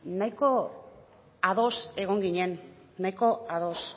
nahiko ados egon ginen nahiko ados